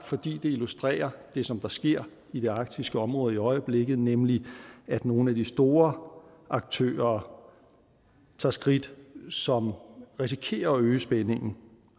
fordi det illustrerer det som der sker i det arktiske område i øjeblikket nemlig at nogle af de store aktører tager skridt som risikerer at øge spændingen